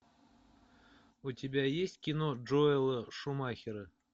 у тебя есть кино джоэла шумахера